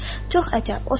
Çox əcəb.